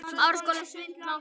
Blóðrás heftir strax í stað.